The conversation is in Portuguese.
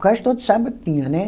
Quase todo sábado tinha, né?